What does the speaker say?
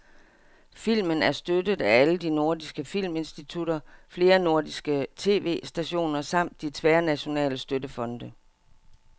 Filmen er støttet af alle de nordiske filminstitutter, flere nordiske tv-stationer samt de tværnationale støttefonde.